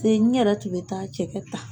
n ɲɛrɛ tun bɛ taa cɛkɛ ta.